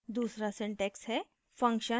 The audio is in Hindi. दूसरा syntax हैः